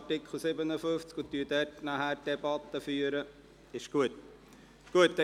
– Er wünscht das Wort derzeit nicht.